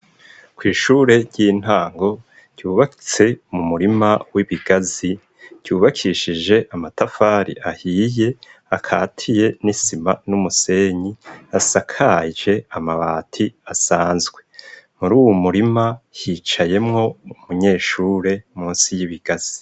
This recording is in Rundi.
Kw'ishure ry'intango ryubatse mu murima w'ibigazi, ryubakishije amatafari ahiye akatiye n'isima n'umusenyi asakaje amabati asanzwe. Muri uwu murima hicayemwo umunyeshure munsi y'ibigazi.